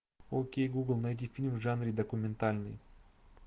окей гугл найди фильм в жанре документальный